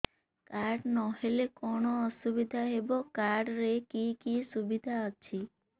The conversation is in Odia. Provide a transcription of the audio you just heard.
କାର୍ଡ ନହେଲେ କଣ ଅସୁବିଧା ହେବ କାର୍ଡ ରେ କି କି ସୁବିଧା ଅଛି